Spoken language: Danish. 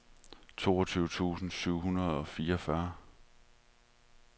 toogtyve tusind syv hundrede og fireogfyrre